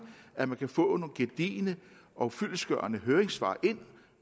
at man kan få nogle gedigne og fyldestgørende høringssvar ind